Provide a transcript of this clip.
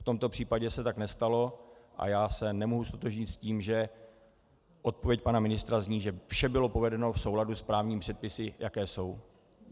V tomto případě se tak nestalo a já se nemůžu ztotožnit s tím, že odpověď pana ministra zní, že vše bylo provedeno v souladu s právními předpisy, jaké jsou.